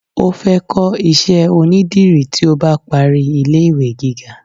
o fe ko iṣẹ onidiri ti o ba pari ile iwe gíga